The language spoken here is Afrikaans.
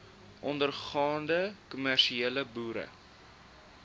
ondergaande kommersiële boere